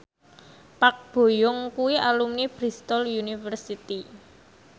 Park Bo Yung kuwi alumni Bristol university